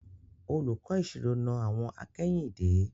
Olùkọ́ ìṣirò na àwọ̀n akẹ́yìndé.